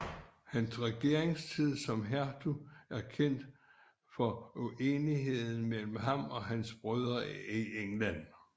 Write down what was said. Hans regeringstid som hertug er kendt for uenigheden mellem ham og hans brødre i England